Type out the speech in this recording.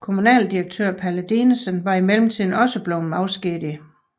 Kommunaldirektør Palle Dinesen var i mellemtiden også blevet afskediget